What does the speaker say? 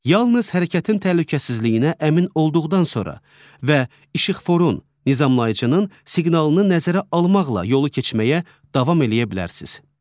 Yalnız hərəkətin təhlükəsizliyinə əmin olduqdan sonra və işıqforun, nizamlayıcının siqnalını nəzərə almaqla yolu keçməyə davam eləyə bilərsiniz.